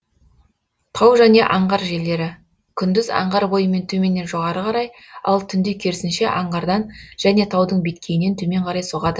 тау және аңғар желдері күндіз аңғар бойымен төменнен жоғары қарай ал түнде керісінше аңғардан және таудың беткейінен төмен қарай соғады